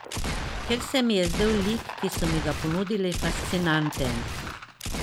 Ker se mi je zdel lik, ki so mi ga ponudili, fascinanten.